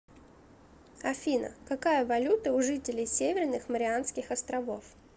афина какая валюта у жителей северных марианских островов